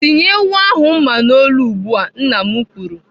"Tinye ewu ahụ mma n'olu ugbu a!" Nna m kwuru.